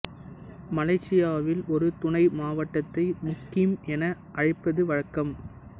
மலேசியாவில் ஒரு துணை மாவட்டத்தை முக்கிம் என அழைப்பது வழக்கம்